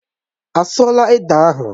Á sụọ là ede ahụ?